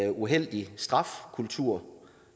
en uheldig strafkultur